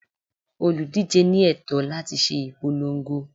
Olùdíje ní ẹ̀tọ́ láti ṣe ìpolongo.